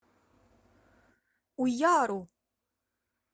уяру